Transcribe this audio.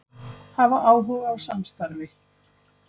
Hafa áhuga á samstarfi